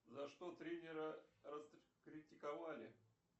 за что тренера раскритиковали